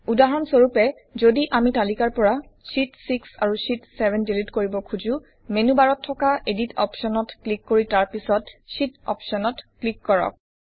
উদাহৰণ স্বৰূপে যদি আমি তালিকাৰ পৰা শীত 6 আৰু শীত 7 ডিলিট কৰিব খুজোঁ মেনু বাৰত থকা এডিট অপশ্বনত ক্লিক কৰি তাৰ পিছত শীত অপশ্বনত ক্লিক কৰক